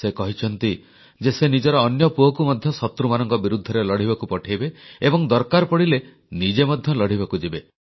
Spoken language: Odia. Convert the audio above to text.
ସେ କହିଛନ୍ତି ଯେ ସେ ନିଜର ଅନ୍ୟ ପୁଅକୁ ମଧ୍ୟ ଶତ୍ରୁମାନଙ୍କ ବିରୁଦ୍ଧରେ ଲଢ଼ିବାକୁ ପଠେଇବେ ଏବଂ ଦରକାର ପଡ଼ିଲେ ନିଜେ ମଧ୍ୟ ଲଢ଼ିବାକୁ ଯିବେ